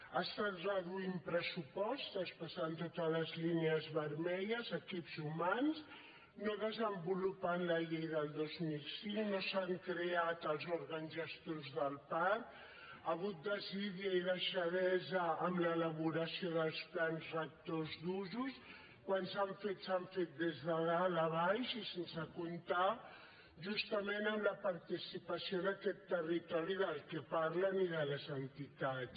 ha estat reduint pressupost traspassant totes les línies vermelles equips humans no desenvolupant la llei del dos mil cinc no s’han creat els òrgans gestors del parc hi ha hagut desídia i deixadesa en l’elaboració dels plans rectors d’usos quan s’han fet s’han fet des de dalt a baix i sense comptar justament amb la participació d’aquest territori de què parlen i de les entitats